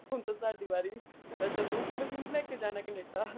ਹੁਣ ਤੂੰ ਸਾਡੀ ਵਾਰੀ ਤੁੰ ਕਿਹਨੂੰ ਕਿਹਨੂੰ ਲੈਕੇ ਜਾਣਾ ਕਨੇਡਾ